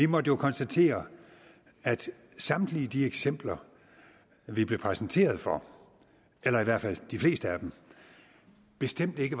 måtte jo konstatere at samtlige de eksempler vi blev præsenteret for eller i hvert fald de fleste af dem bestemt ikke